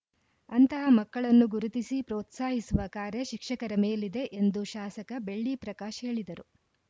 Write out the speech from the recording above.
ಅಂತಹ ಮಕ್ಕಳನ್ನು ಗುರುತಿಸಿ ಪ್ರೋತ್ಸಾಹಿಸುವ ಕಾರ್ಯ ಶಿಕ್ಷಕರ ಮೇಲಿದೆ ಎಂದು ಶಾಸಕ ಬೆಳ್ಳಿ ಪ್ರಕಾಶ್‌ ಹೇಳಿದರು